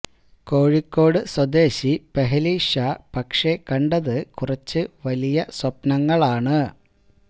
കോഴിക്കോട് സ്വദേശി പെഹലി ഷാ പക്ഷേ കണ്ടത് കുറച്ച് വലിയ സ്വപ്നങ്ങളാണ്